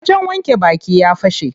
Wajen wanke baki ya fashe.